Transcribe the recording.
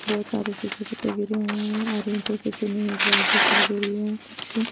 बहुत सारे सूखे पत्ते गिरे हए है और दिखाई दे रही है कुछ --